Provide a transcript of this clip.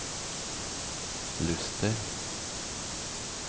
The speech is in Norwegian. Luster